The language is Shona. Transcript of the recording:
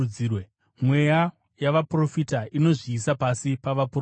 Mweya yavaprofita inozviisa pasi pavaprofita.